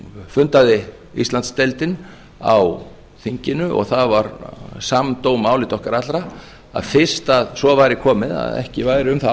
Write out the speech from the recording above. fundaði íslandsdeildin á þinginu og það var samdóma álit okkar allra að fyrst að svo væri komið að ekki væri um það